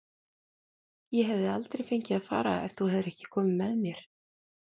Ég hefði aldrei fengið að fara ef þú hefðir ekki komið með mér.